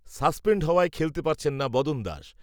suspend হওয়ায় খেলতে পারছেন না বদন দাস